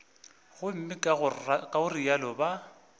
gomme ka go realo ba